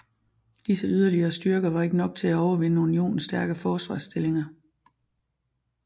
Disse yderligere styrker var ikke nok til at overvinde unionens stærke forsvarsstillinger